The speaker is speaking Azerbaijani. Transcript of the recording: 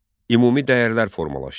Ümumi dəyərlər formalaşdı.